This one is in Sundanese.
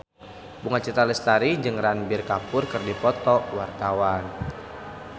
Bunga Citra Lestari jeung Ranbir Kapoor keur dipoto ku wartawan